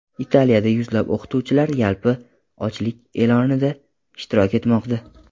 Italiyada yuzlab o‘qituvchilar yalpi ochlik e’lonida ishtirok etmoqda.